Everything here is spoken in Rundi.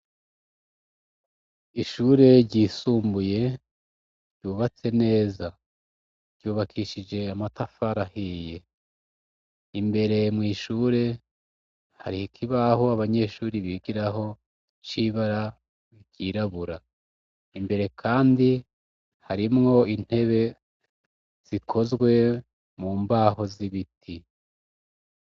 Ishure ryisumbuye ryubatse neza. Ryubakishije amatafari ahiye. Imbere mw' ishure hariho ikibaho abanyeshuri bigiraho c'ibara ryirabura. Imbere kandi harimwo intebe zikozwe mu mbaho z'ibiti.